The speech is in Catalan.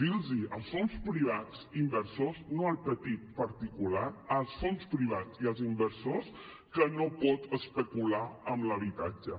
dir als fons privats inversors no al petit particular als fons privats i als inversors que no poden especular amb l’habitatge